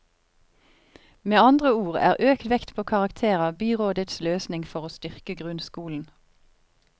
Med andre ord er økt vekt på karakterer byrådets løsning for å styrke grunnskolen.